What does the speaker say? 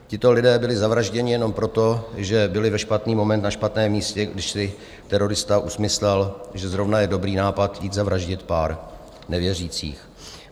Tito lidé byli zavražděni jenom proto, že byli ve špatný moment na špatném místě, když si terorista usmyslel, že zrovna je dobrý nápad jít zavraždit pár nevěřících.